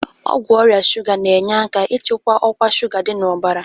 Ọgwụ ọrịa shuga na-enye aka n'ịchịkwa ọkwa shuga dị n'ọbara.